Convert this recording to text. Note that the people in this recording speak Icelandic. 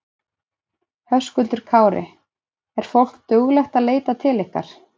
Höskuldur Kári: Er fólk duglegt að leita til ykkar?